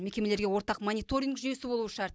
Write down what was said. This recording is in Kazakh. мекемелерге ортақ мониторинг жүйесі болуы шарт